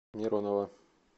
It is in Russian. миронова